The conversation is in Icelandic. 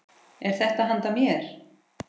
Er þetta handa mér?!